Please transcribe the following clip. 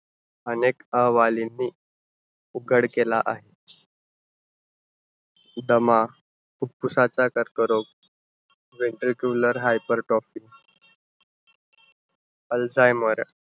अनेक अहवालींनी उघड केला आहे. दमा, फुफ्फुसाचा कर्करोग, ventricular hypertropic, alzheimer.